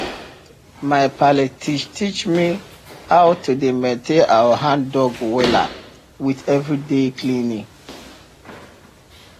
my palle teach teach me how to dey maintain our handdug wella with everyday cleaning